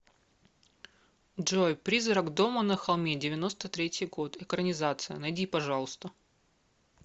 джой призрак дома на холме девяносто третий год экранизация найди пожалуйста